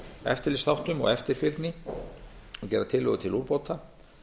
eftirlitsþáttum og eftirfylgni og gera tillögur til úrbóta